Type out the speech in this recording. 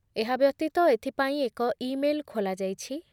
ଏହାବ୍ୟତୀତ ଏଥିପାଇଁ ଏକ ଇ ମେଲ୍ ଖୋଲାଯାଇଛି ।